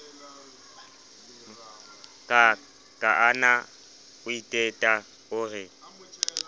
kaana o iteta o re